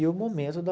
E o momento da...